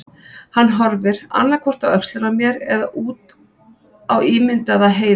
Hann horfir, annað hvort á öxlina á mér eða út á ímyndaða heiði.